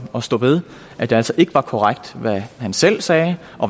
og stå ved at det altså ikke var korrekt hvad han selv sagde